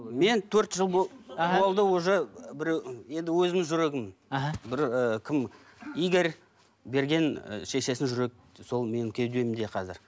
мен төрт жыл болды уже біреу енді өзімнің жүрегім іхі бір і кім игорь берген і шешесінің жүрек сол менің кеудемде қазір